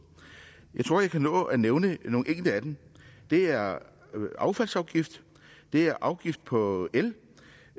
jeg tror jeg kan nå at nævne nogle enkelte af dem det er affaldsafgift det er afgift på el